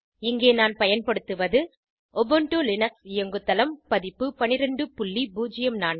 இங்கே நான் பயன்படுத்துவது உபுண்டு லினக்ஸ் இயங்குதளம் பதிப்பு 1204